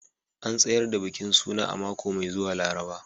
An tsayar da bikin suna a mako mai zuwa Laraba